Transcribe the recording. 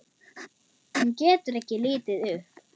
Hún getur ekki litið upp.